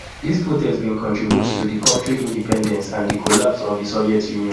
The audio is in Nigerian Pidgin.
dis protests bin contribute to di kontri independence and di collapse of di soviet union